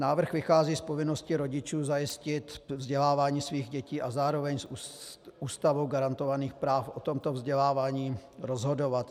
Návrh vychází z povinnosti rodičů zajistit vzdělávání svých dětí a zároveň z Ústavou garantovaných práv o tomto vzdělávání rozhodovat.